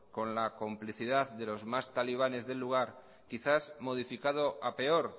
con la complicidad de los más talibanes del lugar quizás modificado a peor